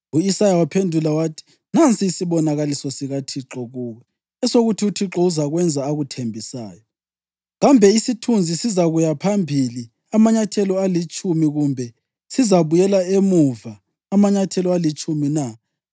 U-Isaya waphendula wathi, “Nansi isibonakaliso sikaThixo kuwe, esokuthi uThixo uzakwenza akuthembisayo. Kambe isithunzi sizakuya phambili amanyathelo alitshumi kumbe sizabuyela emuva amanyathelo alitshumi na?”